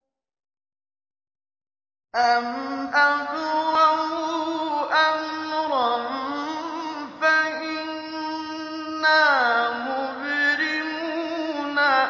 أَمْ أَبْرَمُوا أَمْرًا فَإِنَّا مُبْرِمُونَ